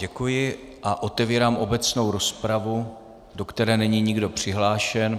Děkuji a otevírám obecnou rozpravu, do které není nikdo přihlášen.